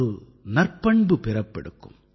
ஒரு நற்பண்பு பிறப்பெடுக்கும்